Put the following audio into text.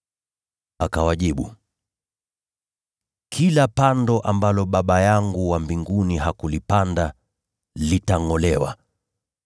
Akawajibu, “Kila pando ambalo Baba yangu wa mbinguni hakulipanda, litangʼolewa.